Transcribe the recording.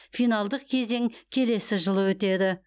финалдық кезең келесі жылы өтеді